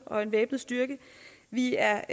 og en væbnet styrke vi er